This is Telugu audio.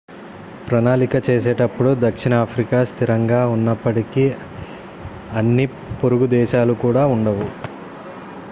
ప్రణాళిక చేసేటప్పుడు దక్షిణ ఆఫ్రికా స్థిరంగా ఉన్నప్పటికీ అన్ని పొరుగు దేశాలు కూడా ఉండవు